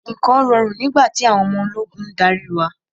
Nǹkan rọrùn nígbà tí àwọn ọmọ ológun ń darí wa.